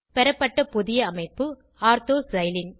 பெறப்பட்ட புதிய அமைப்பு ஆர்த்தோ சைலீன்